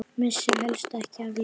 Missir helst ekki af leik.